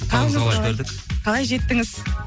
қалай жеттіңіз